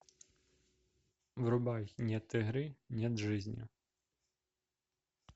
врубай нет игры нет жизни